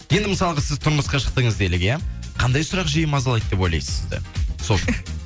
енді мысалға сіз тұрмысқа шықтыңыз делік иә қандай сұрақ жиі мазалайды деп ойлайсыз сізді сол